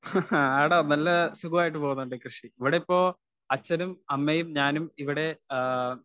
Speaker 1 ഹ് ഹ ആട നല്ല സുഖമായിട്ട് പോകുന്നു. എന്റെ കൃഷി ഇവിടിപ്പോ അച്ഛനും അമ്മയും ഞാനും ഇവിടെ ആ